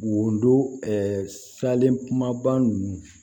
Wodon salen kumaba ninnu